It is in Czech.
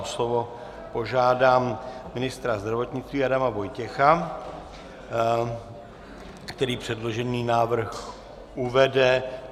O slovo požádám ministra zdravotnictví Adama Vojtěcha, který předložený návrh uvede.